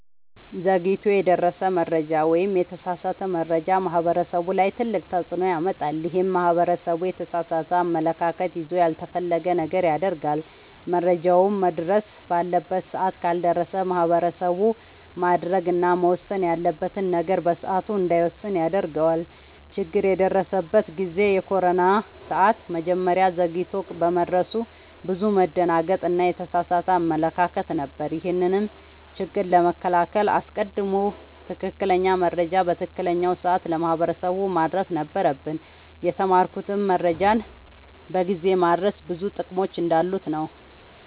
ዘግይቶ የደረሰ መረጃ ወይም የተሳሳተ መረጃ ማህበረሰቡ ላይ ትልቅ ተፅዕኖ ያመጣል። ይህም ማህበረሰቡ የተሳሳተ አመለካከት ይዞ ያልተፈለገ ነገር ያደርጋል። መረጃውም መድረስ ባለበት ሰዓት ካልደረሰ ማህበረሰቡ ማድረግ እና መወሰን ያለበትን ነገር በሰዓቱ እንዳይወስን ያደርገዋል። ችግር የደረሰበት ጊዜ የኮሮና ሰዓት መረጃው ዘግይቶ በመድረሱ ብዙ መደናገጥ እና የተሳሳተ አመለካከት ነበር። ይህንንም ችግር ለመከላከል አስቀድሞ ትክክለኛ መረጃ በትክክለኛው ሰዓት ለማህበረሰቡ ማድረስ ነበረብን። የተማርኩትም መረጃን በጊዜው ማድረስ ብዙ ጥቅሞች እንዳሉት ነወ።